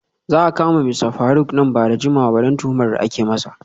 Za a kama Mista Faruk nan ba da jimawa ba saboda tuhumar da ake masa.